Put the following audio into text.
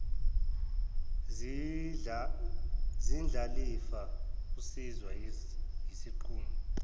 zindlalifa usizwa yisinqumo